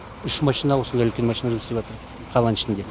үш машина осындай үлкен машина жұмыс істеватыр қаланың ішінде